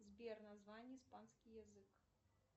сбер название испанский язык